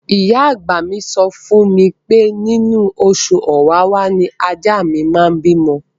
Ìyá àgbà mi sọ fún mi pé inú oṣù Ọ̀wàwà ni ajá mi máa bímọ.